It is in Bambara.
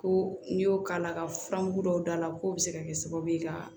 Ko n'i y'o k'a la ka furamugu dɔw d'a la k'o bɛ se ka kɛ sababu ye ka